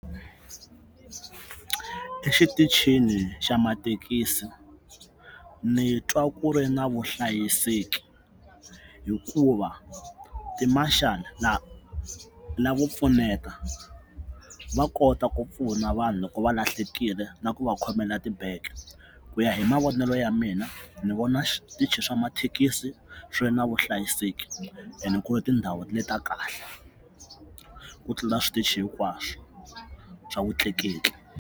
Exitichini xa mathekisi ni twa ku ri na vuhlayiseki hikuva timarshal lavo pfuneta va kota ku pfuna vanhu loko va lahlekile na ku va khomela tibege ku ya hi mavonelo ya mina ni vona switichi swa mathekisi swi ri na vuhlayiseki and ku ri tindhawu leti ta kahle ku tlula switichi hinkwaswo swa vutleketli.